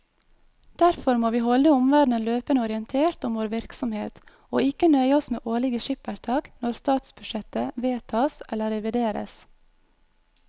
Derfor må vi holde omverdenen løpende orientert om vår virksomhet, og ikke nøye oss med årlige skippertak når statsbudsjettet vedtas eller revideres.